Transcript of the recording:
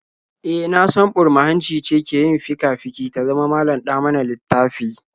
E, na san burma-hanci ce ke yin fika-fiki ta zama malam-ɗa-mana-littafi?